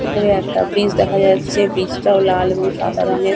উপরে একটা ব্রিজ দেখা যাচ্ছে ব্রিজ -টাও লাল এবং সাদা রঙে।